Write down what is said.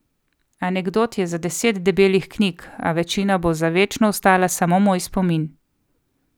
Anekdot je za deset debelih knjig, a večina bo za večno ostala samo moj spomin.